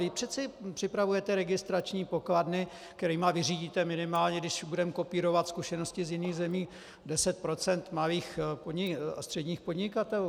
Vy přece připravujete registrační pokladny, kterými vyřídíte minimálně, když budeme kopírovat zkušenosti z jiných zemí, 10 % malých a středních podnikatelů!